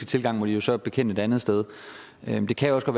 tilgang må de så bekende et andet sted men det kan jo også